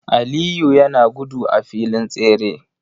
Aliyu yana gudu a filin tsere.